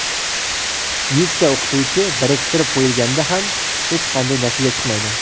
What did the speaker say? yuzta o‘qituvchi biriktirib qo‘yilganda ham hech qanday natija chiqmaydi.